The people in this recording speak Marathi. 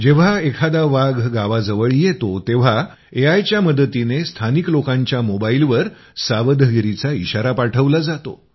जेव्हा एखादा वाघ गावाजवळ येतो तेव्हा एआयच्या मदतीने स्थानिक लोकांच्या मोबाईलवर सावधगिरीचा इशारा पाठवला जातो